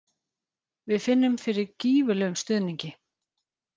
Við finnum fyrir gífurlegum stuðningi.